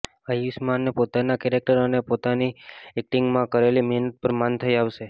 આયુષ્માને પોતાના કેરેક્ટર અને પોતાની એક્ટિંગમાં કરેલી મહેનત પર માન થઈ આવશે